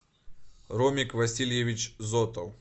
ромик васильевич зотов